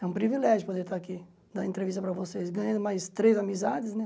É um privilégio poder estar aqui, dar entrevista para vocês, ganhando mais três amizades, né?